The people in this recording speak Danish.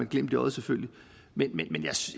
glimt i øjet selvfølgelig men